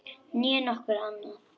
Né nokkuð annað.